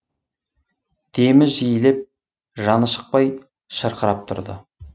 демі жиілеп жаны шықпай шырқырап тұрды